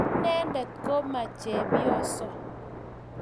Inyendet ko maichepyoso.